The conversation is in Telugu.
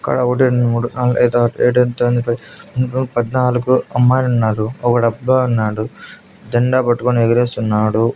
ఇక్కడ ఒకటి రెండు మూడు నాలుగు ఐదు ఆరు ఏడు ఎనిమిది తొమ్మిది పది పద్నాలుగు అమ్మాయిలున్నారు ఒకడు అబ్బాయున్నాడు జెండా పట్టుకొని ఎగరేస్తున్నాడు.